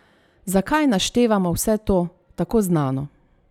Zakaj naštevamo vse to, tako znano?